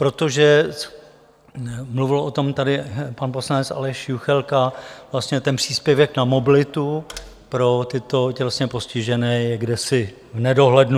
Protože, mluvil o tom tady pan poslanec Aleš Juchelka, vlastně ten příspěvek na mobilitu pro tyto tělesně postižené je kdesi v nedohlednu.